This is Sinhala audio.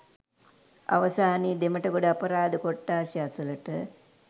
අවසානයේ දෙමට‍ගොඩ අපරාධ කොට්ඨාශය අසලට